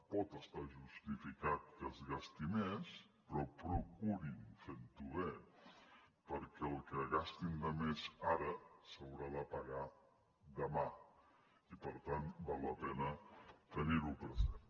pot estar justificat que es gasti més però procurin fer ho bé perquè el que gastin de més ara s’haurà de pagar demà i per tant val la pena tenir ho present